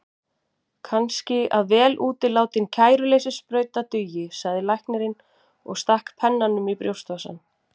Kannski að vel útilátin kæruleysissprauta dugi, sagði læknirinn og stakk pennanum í brjóstvasann.